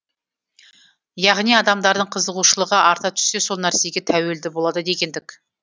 яғни адамдардың қызығушылығы арта түссе сол нәрсеге тәуелді болады дегендік